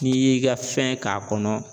N'i y'i ka fɛn k'a kɔnɔ